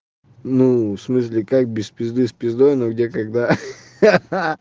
ну в смысле как без пизды с пиздой но где когда ха-ха